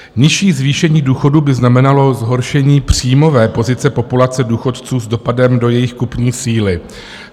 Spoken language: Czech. Nižší zvýšení důchodů by znamenalo zhoršení příjmové pozice populace důchodců s dopadem do jejich kupní síly.